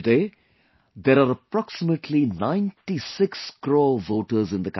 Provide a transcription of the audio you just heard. Today there are approximately 96 crore voters in the country